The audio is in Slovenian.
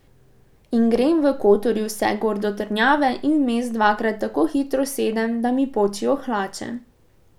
In grem v Kotorju vse gor do trdnjave in vmes dvakrat tako hitro sedem, da mi počijo hlače.